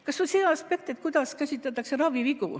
Kas või see aspekt, kuidas käsitletakse ravivigu.